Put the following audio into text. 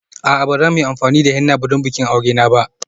A'a, ba za mu yi amfani da henna don bikin aure na ba.